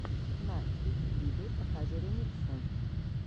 на ютьюбе покажи ремиксы